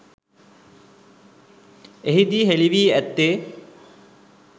එහිදී හෙළි වී ඇත්තේ